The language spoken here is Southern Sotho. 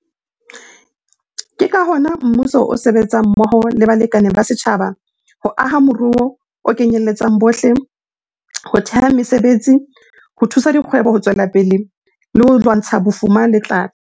Ke ka hona mmuso o sebetsang mmoho le balekane ba setjhaba ho aha moruo o kenyeletsang bohle, ho theha mesebetsi, ho thusa dikgwebo ho tswela pele le ho lwantsha bofuma le tlala.